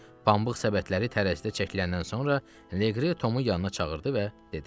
Pambıq səbətləri tərəzidə çəkiləndən sonra Leqri Tomu yanına çağırdı və dedi: